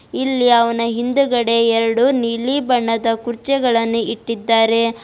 ಇಲ್ಲಿ ಅವನ ಹಿಂದೆಗಡೆ ಎರಡು ನೀಲಿ ಬಣ್ಣದ ಕುರ್ಚಿಗಳನ್ನು ಇಟ್ಟಿದ್ದಾರೆ.